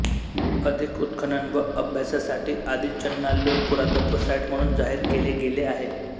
अधिक उत्खनन व अभ्यासासाठी आदीचनाल्लूर पुरातत्व साइट म्हणून जाहीर केले गेले आहे